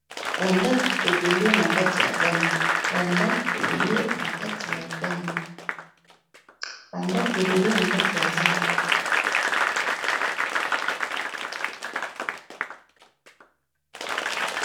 Ba ndaku ebele na kati ya zamba.